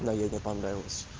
да я тебе понравилась